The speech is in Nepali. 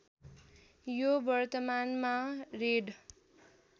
यो वर्तमानमा रेड